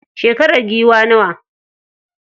Shekarar giwar nawa?